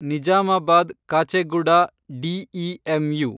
Nizamabad Kacheguda DEMU